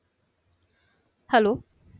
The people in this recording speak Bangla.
Hello